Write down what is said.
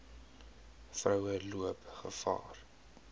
vroue loop gevaar